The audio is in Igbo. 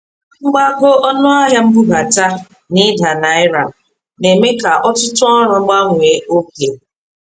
Mgbago ọnụ ahịa mbubata na ida naira na-eme ka ọtụtụ ọrụ gbanwee oge.